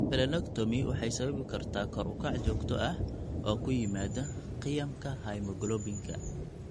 Splenectomy waxay sababi kartaa kor u kac joogto ah oo ku yimaada qiyamka hemoglobinka.